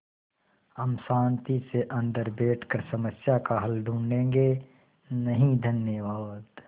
हम शान्ति से अन्दर बैठकर समस्या का हल ढूँढ़े गे नहीं धन्यवाद